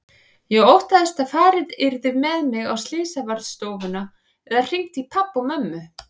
Ég óttaðist að farið yrði með mig á slysavarðstofuna eða hringt í pabba og mömmu.